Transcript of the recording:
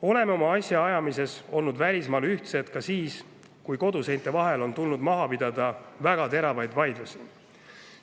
Oleme oma asjaajamisel välismaal olnud ühtsed ka siis, kui koduseinte vahel on tulnud maha pidada väga teravaid vaidlusi.